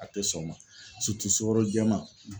A tɛ sɔn o ma sukoro jɛman